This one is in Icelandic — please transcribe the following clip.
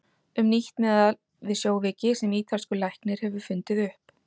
Um nýtt meðal við sjóveiki sem ítalskur læknir hefur fundið upp.